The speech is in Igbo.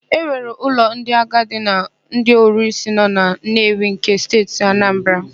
E nwere ụlọ ndị agadi na ndị ọrụsị nọ na Nnewi nke Steeti Anambara.